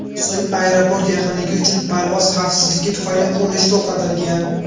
So‘ng aeroport yaqinligi uchun parvoz xavfsizligi tufayli qurilish to‘xtatilgan.